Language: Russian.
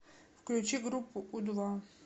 включи группу у два